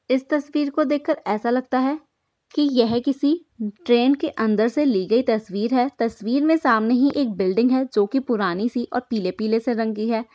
इस तस्वीर को देख कर ऐसा लगता है कि यह किसी ट्रेन के अंदर से ली गई तस्वीर है| तस्वीर में सामने ही एक बिल्डिंग है जोकि पुरानी सी और पीले पीले से रंगी है।